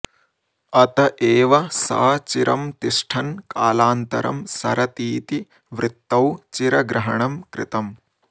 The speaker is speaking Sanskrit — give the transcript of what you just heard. अत एव स चिरं तिष्ठन् कालान्तरं सरतीति वृत्तौ चिरग्रहणं कृतम्